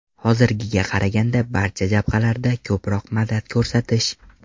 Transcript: Hozirgiga qaraganda barcha jabhalarda ko‘proq madad ko‘rsatish.